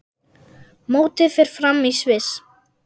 Mótið fer fram í Sviss.